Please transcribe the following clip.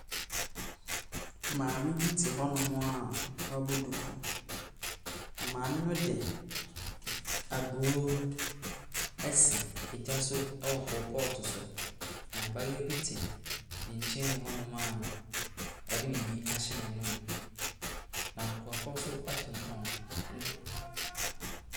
Maame bi te hɔnom a wabɔ duku, na maame no de aburo asi gya so wɔ koropɔɔto so, na abayewa bi te ne nkyɛm mu hɔ a ɔde biribi ahyɛ n'anom, na nkurɔfoɔ nso tontɔn nneɛma.